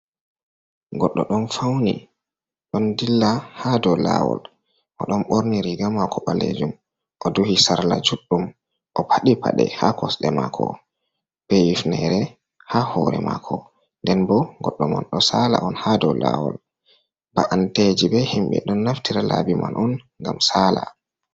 Goɗɗo ɗon fauni, ɗon dilla haa dou laawol. O ɗon ɓorni riga maako ɓalejum, o duhi sarla juɗɗum, o paɗi paɗe haa kosɗe maako, be hifnere haa hore maako, nden bo goɗɗo man ɗo saala on ha dou lawol. Mba’anteji be himɓe ɗon naftira laabi man on ngam saala.